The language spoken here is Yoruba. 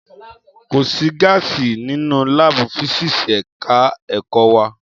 Kò sí gáàsì nínú láàbù físíkíìsì ẹ̀ka ẹ̀kọ́ wa